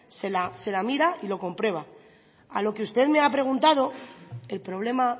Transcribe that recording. se la mira y lo comprueba a lo que usted me ha preguntado el problema